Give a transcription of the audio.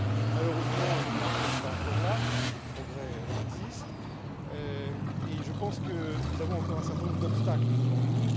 Malheureusement, nous n'en sommes pas encore là, même si des progrès existent, et je pense que nous avons encore un certain nombre d'obstacles devant nous.